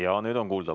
Jaa, nüüd on kuulda.